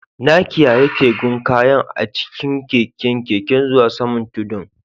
Na kiyyaye tugen kayan a'cikin keken Keke zuwa saman tudun.